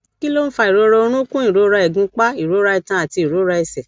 kí ló ń fa ìrora orunkun ìrora igunpa ìrora itan àti ìrora ẹsẹ